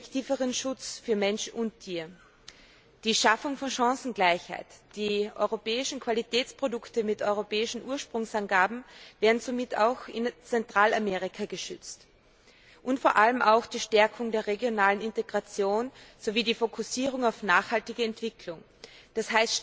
wirksameren Schutz für Mensch und Tier die Schaffung von Chancengleichheit die europäischen Qualitätsprodukte mit europäischen Ursprungsangaben werden somit auch in Zentralamerika geschützt und vor allem auch die Stärkung der regionalen Integration sowie die Fokussierung auf nachhaltige Entwicklung, d.